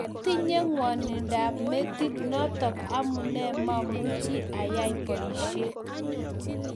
kwatinye ngwanindo ab metit notok amune mamuch ayai boishet